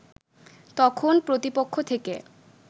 তখন প্রতিপক্ষ থেকে